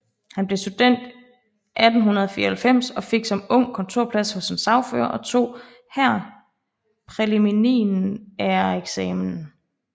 Han blev student 1894 og fik som ung kontorplads hos en sagfører og tog her præliminæreksamen